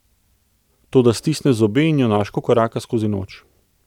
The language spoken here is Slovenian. Toda stisne zobe in junaško koraka skozi noč.